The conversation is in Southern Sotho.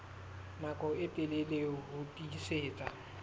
nako e telele ho tiisitse